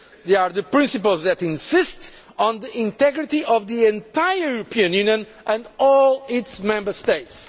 They are the principles that insist on the integrity of the entire European Union and all its Member States.